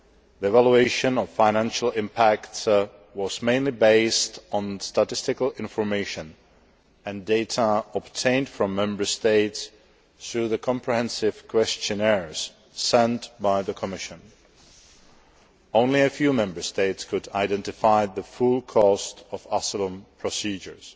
The evaluation of financial impact was mainly based on statistical information and data obtained from Member States through the comprehensive questionnaires sent out by the Commission. Only a few Member States could identify the full cost of asylum procedures.